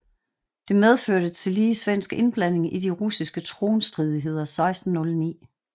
Det medførte tillige svensk indblanding i de russiske tronstridigheder 1609